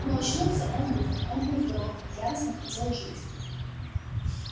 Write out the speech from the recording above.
но очнулся он быстро он был здоров и яростно хотел жить